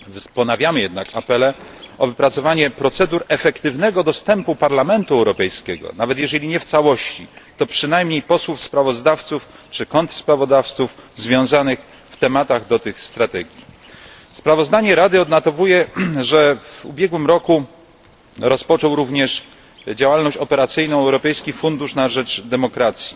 Ponawiamy jednak apele o wypracowanie procedur efektywnego dostępu Parlamentu Europejskiego nawet jeżeli nie w całości, to przynajmniej posłów sprawozdawców czy kontrsprawozdawców związanych w tematach do tych strategii. Sprawozdanie Rady odnotowuje, że w ubiegłym roku rozpoczął również działalność operacyjną Europejski Fundusz na rzecz Demokracji.